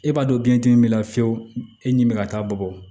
E b'a dɔn biɲɛ dimi b'i la fiyewu e nimi be ka taa bɔ